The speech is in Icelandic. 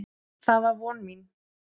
Það var von mín.